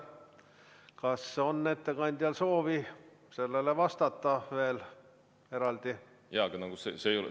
Kas on ettekandjal soovi sellele veel eraldi vastata?